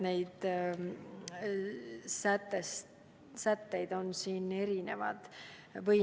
Sätteid on erinevaid.